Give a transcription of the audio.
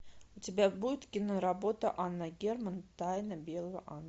у тебя будет киноработа анна герман тайна белого ангела